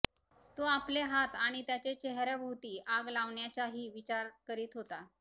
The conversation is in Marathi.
तो आपले हात आणि त्याचे चेहर्याभोवती आग लावण्याचाही विचार करीत होता